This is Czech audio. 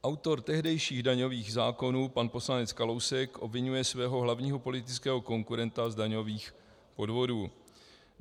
Autor tehdejších daňových zákonů pan poslanec Kalousek obviňuje svého hlavního politického konkurenta z daňových podvodů.